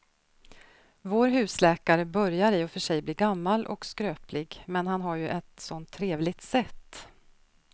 Vår husläkare börjar i och för sig bli gammal och skröplig, men han har ju ett sådant trevligt sätt!